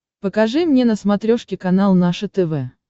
покажи мне на смотрешке канал наше тв